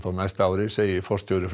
á næsta ári segir forstjóri